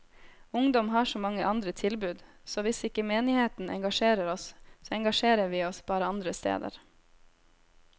Ungdom har så mange andre tilbud, så hvis ikke menigheten engasjerer oss, så engasjerer vi oss bare andre steder.